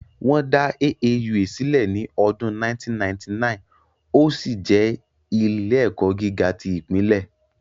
Wọ́n dá AAUA sílẹ̀ ní ọdún 1999, ó sì jẹ́ ilé-ẹ̀kọ́ gíga tí ìpínlẹ̀